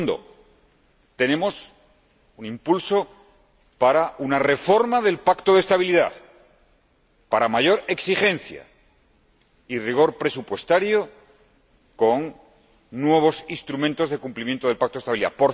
y segundo, tenemos impulso para una reforma del Pacto de Estabilidad, para una mayor exigencia y rigor presupuestario, con nuevos instrumentos de cumplimiento del Pacto de Estabilidad.